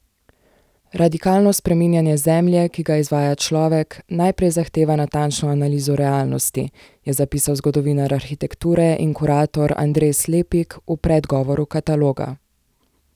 Radikalno spreminjanje Zemlje, ki ga izvaja človek, najprej zahteva natančno analizo realnosti, je zapisal zgodovinar arhitekture in kurator Andres Lepik v predgovoru kataloga.